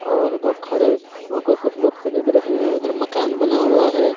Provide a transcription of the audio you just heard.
और उधर खड़े होकर कुछ लोग खरीद रहे हैं उधर मकान बना हुआ है।